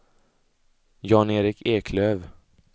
Jan-Erik Eklöf